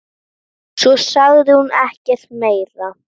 Svo sagði hún ekkert meira.